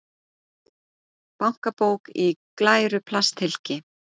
Bankabók í glæru plasthylki.